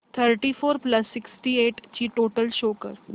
thirty four plus sixty eight ची total show कर